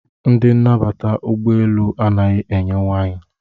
Ndị nnabata n'ụgbọ elu anaghị enye waịn.